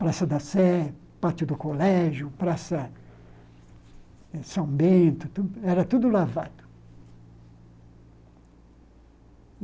Praça da Sé, Pátio do Colégio, Praça eh São Bento, era tudo lavado.